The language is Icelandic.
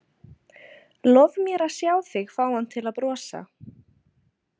Lof mér að sjá þig fá hann til að brosa.